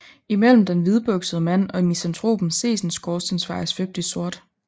Imellem den hvidbuksede mand og misantropen ses en skorstensfejer svøbt i sort